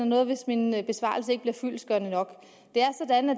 noget hvis min besvarelse ikke bliver fyldestgørende nok